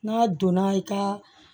N'a donna i ka